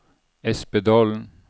Espedalen